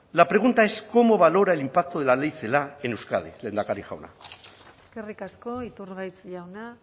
la pregunta es cómo valora el impacto de la ley celaá en euskadi lehendakari jauna eskerrik asko iturgaiz jauna